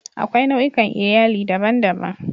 Akwai nau'ikan Iyali daban-daban.